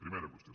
primera qüestió